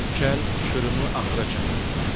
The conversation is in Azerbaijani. Kəl şırımı axıra çatdırdı.